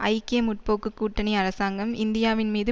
ஐக்கிய முற்போக்கு கூட்டணி அரசாங்கம் இந்தியாவின்மீது